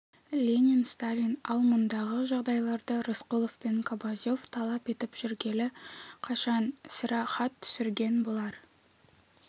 ленин сталин ал мұндағы жағдайларды рысқұлов пен кобозев талап етіп жүргелі қашан сірә хат түсірген болар